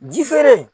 Ji feere